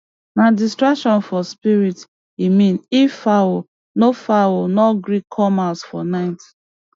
nah distraction for spirit e mean if fowl no fowl no gree come house for night